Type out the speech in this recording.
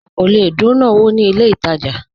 Ọ̀ kọ́ lẹ̀ dùnà owó ní ilẹ̀ ìtajà